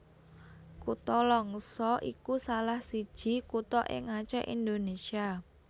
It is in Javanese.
Kutha Langsa iku salah siji kutha ing Acèh Indonésia